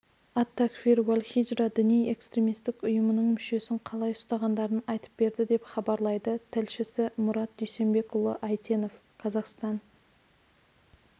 ат-такфир уәл-хиджра діни-экстремистік ұйымының мүшесін қалай ұстағандарын айтып берді деп хабарлайды тілшісі мұрат дүйсенбекұлы әйтенов қазақстан